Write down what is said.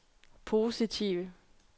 positive